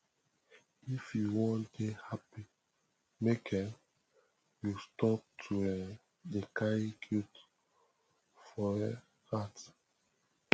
if you wan dey happy make um you stop to um dey carry guilt for um heart